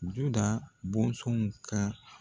Duda bɔnsɔnw ka